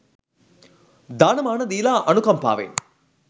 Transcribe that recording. දාන මාන දීලා අනුකම්පාවෙන්